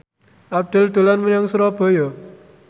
Abdel dolan menyang Surabaya